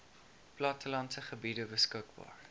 plattelandse gebiede beskikbaar